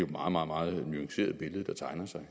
meget meget nuanceret billede der tegner sig